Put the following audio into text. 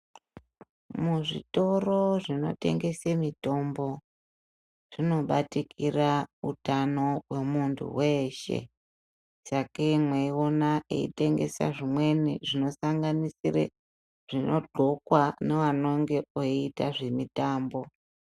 Muzvitoro zvinotengesa mitombo zvinobatikira utano wemuntu weshe Sakei mweiona eitengesa zvimweni zvinosanganisira zvinodxokwa nevanonga veiita zvemitambo.